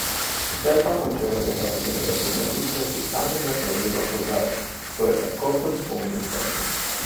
Sicer pa Hočevarjeva glede uveljavitev fiskalnega pravila opozarja: "To je tako kot z bolnim zobom.